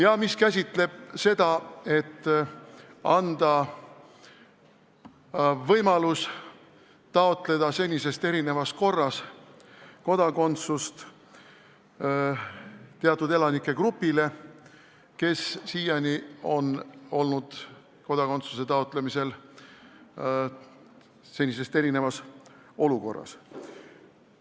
Eelnõu eesmärk on anda võimalus taotleda senisest erinevas korras kodakondsust teatud elanikegrupile, kes siiani on kodakondsuse taotlemisel erinevas olukorras olnud.